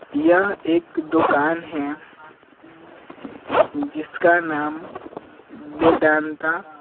यह एक दुकान है जिसका नाम वेदांता --